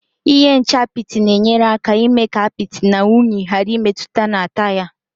Ihe nche apịtị na-enyere aka mee ka apịtị na unyi ghàrà ịmetụta na taya